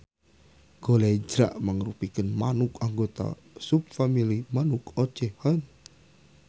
Golejra mangrupikeun manuk anggota subfamili manuk ocehan